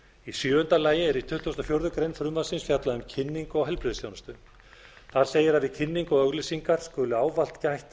í sjöunda lagi er í tuttugasta og fjórðu grein frumvarpsins fjallað um kynningu á heilbrigðisþjónustu þar segir að við kynningu og auglýsingar skuli ávallt gætt